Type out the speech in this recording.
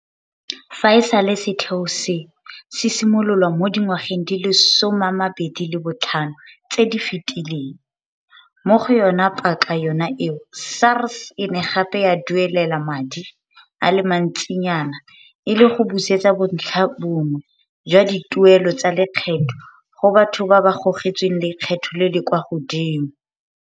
Fa e sale setheo seno se simololwa mo dingwageng di le 25 tse di fetileng, mo go yona paka yona eo SARS e ne gape ya duelela madi a le mantsinyana e le go busetsa bontlhabongwe jwa dituelelo tsa lekgetho go batho ba ba gogetsweng lekgetho le le kwa godimo.